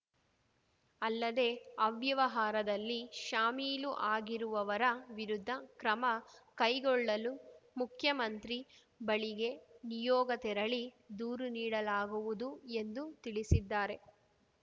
ಅಲ್ಲದೇ ಅವ್ಯವಹಾರದಲ್ಲಿ ಶಾಮೀಲು ಆಗಿರುವವರ ವಿರುದ್ಧ ಕ್ರಮ ಕೈಗೊಳ್ಳಲು ಮುಖ್ಯಮಂತ್ರಿ ಬಳಿಗೆ ನಿಯೋಗ ತೆರಳಿ ದೂರು ನೀಡಲಾಗುವುದು ಎಂದು ತಿಳಿಸಿದ್ದಾರೆ